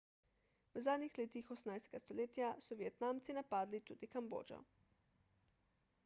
v zadnjih letih 18 stoletja so vietnamci napadli tudi kambodžo